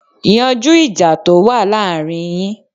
Yanjú ìjà to wá láàárín yín.